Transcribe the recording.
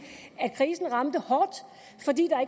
at krisen ramte hårdt fordi